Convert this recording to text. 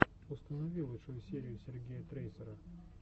установи лучшую серию сергея трейсера